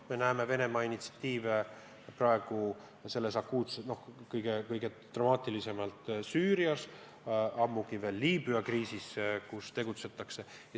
Me näeme Venemaa initsiatiive kõige dramaatilisemalt Süürias, samuti Liibüa kriisis.